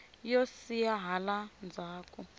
yo siya hala ndzzhaku